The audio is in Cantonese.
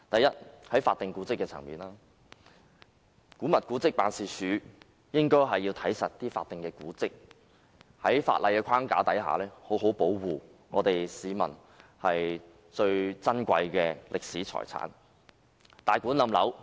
首先，在法定古蹟的層面，古蹟辦負責監管法定古蹟，在法例框架下好好保護珍貴的歷史遺產。